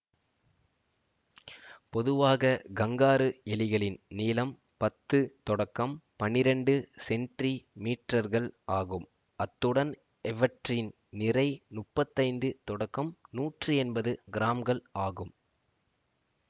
பொதுவாக கங்காரு எலிகளின் நீளம் பத்து தொடக்கம் பண்ணிரண்டு சென்ரி மீற்றர்கள் ஆகும் அத்துடன் இவற்றின் நிறை முப்பத்தி ஐந்து தொடக்கம் நூற்றி எண்பது கிராம்கள் ஆகும்